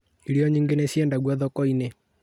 Irio nyingĩ nĩ cĩendagio thoko-inĩ